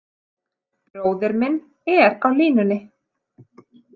Bróðir minn er á línunni.